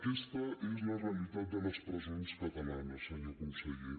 aquesta és la realitat de les presons catalanes senyor conseller